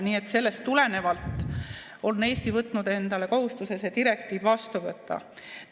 Nii et sellest tulenevalt on Eesti võtnud endale kohustuse see direktiiv vastu võtta.